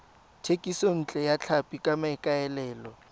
thekisontle ya tlhapi ka maikaelelo